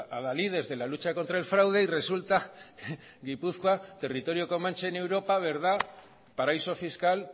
adalides de la lucha contra el fraude y resulta gipuzkoa territorio comanche en europa verdad paraíso fiscal